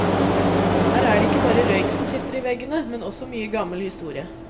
Her er det ikke bare røyk som sitter i veggene, men også mye gammel historie.